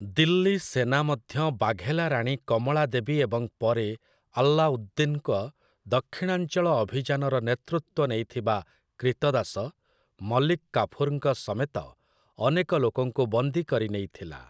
ଦିଲ୍ଲୀ ସେନା ମଧ୍ୟ ବାଘେଲା ରାଣୀ କମଳା ଦେବୀ ଏବଂ ପରେ ଆଲ୍ଲାଉଦ୍ଦିନ୍‌ଙ୍କ ଦକ୍ଷିଣାଞ୍ଚଳ ଅଭିଯାନର ନେତୃତ୍ୱ ନେଇଥିବା କ୍ରୀତଦାସ, ମଲିକ୍ କାଫୁର୍‌ଙ୍କ ସମେତ ଅନେକ ଲୋକଙ୍କୁ ବନ୍ଦୀ କରିନେଇଥିଲା ।